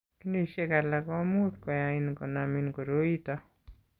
Ginishek alak ko much koyain konamin koroi ito.